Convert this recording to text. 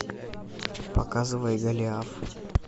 показывай голиаф